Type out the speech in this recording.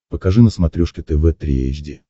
покажи на смотрешке тв три эйч ди